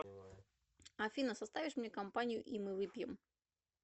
афина составишь мне компанию и мы выпьем